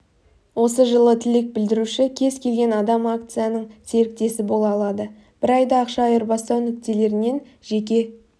осы жылы тілек білдіруші кез келген адамакцияның серіктесі бола алады бір айда ақша айырбастау нүктелерінен жеке